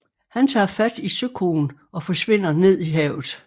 Han tager fat i søkoen og forsvinder ned i havet